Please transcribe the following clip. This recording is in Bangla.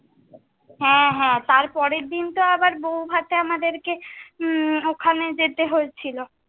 হ্যাঁ হ্যাঁ, তার পরের দিন তো আবার বৌভাতে আমাদেরকে উম ওখানে যেতে হয়ে ছিলো।